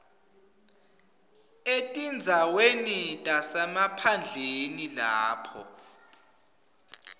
etindzaweni tasemaphandleni lapho